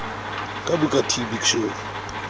ka booker t big show